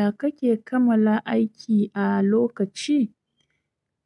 Ya kake kamala aiki a lokaci?